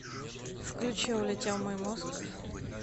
включи улетел мой мозг